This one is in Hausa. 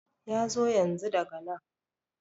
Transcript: yazo yanzu daga nan